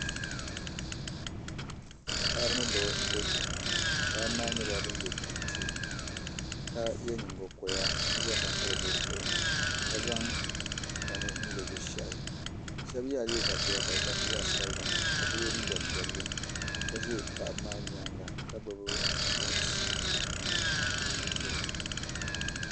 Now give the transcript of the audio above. Paɣaba ni dabba n bɛ kpɛ ŋɔ paɣaba maa nyɛla bin yɛ kɛntɛ ka yɛ nyingokoya ka zaŋ bini piri bi zuɣu ka zaŋ tani n lo bi shahi shab yɛla liiga piɛla ka di garisi zaɣ sabila ka so yɛ liiga piɛlli ka ʒi paɣaba maa nyaanga ka gbubi tɛnti kurigu